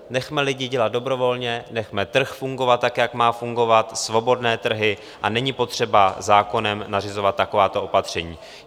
Nechme lidi dělat dobrovolně, nechme trh fungovat tak, jak má fungovat, svobodné trhy, a není potřeba zákonem nařizovat takováto opatření.